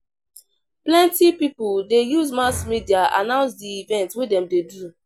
Plenty pipo dey use mass media announce di event wey dem dey do.